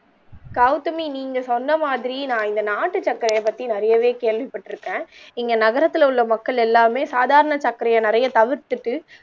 கௌதமி நீங்க சொன்ன மாதிரி நான் நாட்டுச் சர்க்கரையை பத்தி நிறையவே கேள்விப்பட்டு இருக்கேன் இங்க நகரத்தில் உள்ள மக்கள் எல்லாருமே சாதாரண சக்கரைய நெறைய தவிர்த்துட்டு